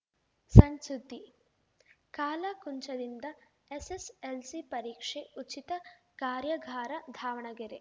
ಸಣ್‌ ಸುದ್ದಿ ಕಾಲಾಕುಂಚದಿಂದ ಎಸ್‌ಎಸ್‌ಎಲ್‌ಸಿ ಪರೀಕ್ಷೆ ಉಚಿತ ಕಾರ್ಯಾಗಾರ ದಾವಣಗೆರೆ